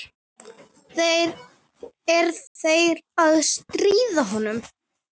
Er þeir að stríða honum?